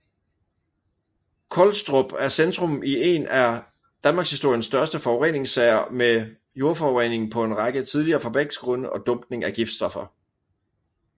Collstrop er centrum i en af danmarkshistoriens største forureningssager med jordforurening på en række tidligere fabriksgrunde og dumpning af giftstoffer